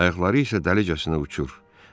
Ayaqları isə dalıcasına uçur.